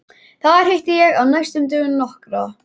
Þar hitti ég á næstu dögum nokkra